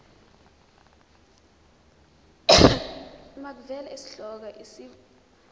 makuvele isihloko isib